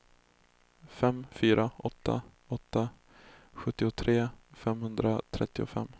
fem fyra åtta åtta sjuttiotre femhundratrettiofem